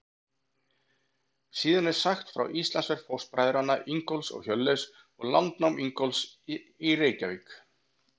Síðan er sagt frá Íslandsferð fóstbræðranna Ingólfs og Hjörleifs og landnámi Ingólfs í Reykjavík.